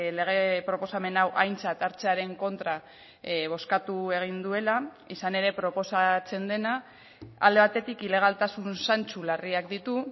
lege proposamen hau aintzat hartzearen kontra bozkatu egin duela izan ere proposatzen dena alde batetik ilegaltasun zantzu larriak ditu